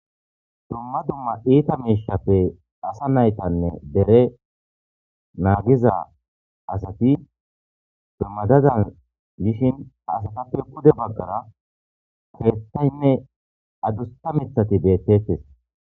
Duma duma itta mishaped asa naytane dere magixa asati madadan yoshin asatape pude bagara kethaynne adusa mithati betetes